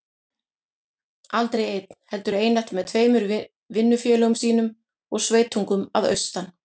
Aldrei einn, heldur einatt með tveimur vinnufélögum sínum og sveitungum að austan.